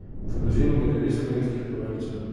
V bazenu bo devet slovenskih plavalcev.